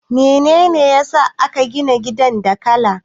Mene ne ya sa aka gina gidan da laka?